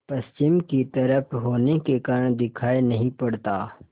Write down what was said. पश्चिम की तरफ होने के कारण दिखाई नहीं पड़ता